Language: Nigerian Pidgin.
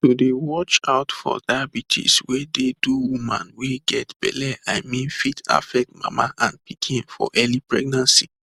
to dey watch out for diabetes wey dey do woman wey get belle i mean fit affect mama and pikin for early pregnancy